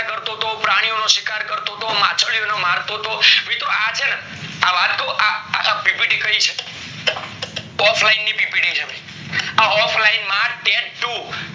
કરતો હતો પ્રીનીઓનો શિકાર કરતો હતો માછલીઓને મારતો હતો મિત્રો આ ચેને વાત કૌ આ ppt કય છે ની ppt છે ભય આ offline માં tat ટુ